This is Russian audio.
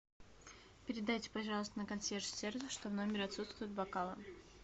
передайте пожалуйста на консьерж сервис что в номере отсутствуют бокалы